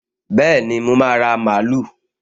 Bẹ́ẹ̀ni, mo máa ra mààúlù